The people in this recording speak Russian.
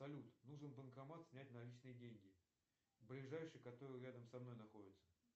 салют нужен банкомат снять наличные деньги ближайший который рядом со мной находится